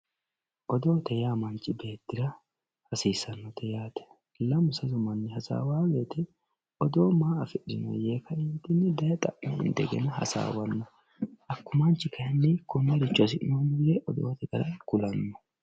odoote yaa manchi beettira hasiissannote yaate lamu sasu manni hasaawowoo woyte odoo maa afidhinoonni yee xa'manno indegena hasaawanno hakko manchi kayni konneeicho hasi'noommo yee odoote gara kulanno